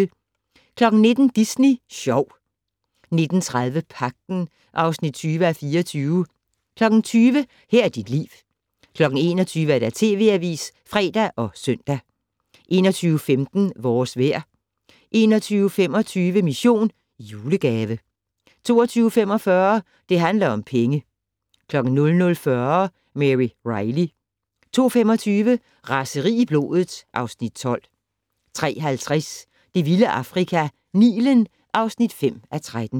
19:00: Disney Sjov 19:30: Pagten (20:24) 20:00: Her er dit liv 21:00: TV Avisen (fre og søn) 21:15: Vores vejr 21:25: Mission: Julegave 22:45: Det handler om penge 00:40: Mary Reilly 02:25: Raseri i blodet (Afs. 12) 03:50: Det vilde Afrika - Nilen (5:13)